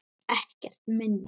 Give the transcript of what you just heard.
Ekkert minna!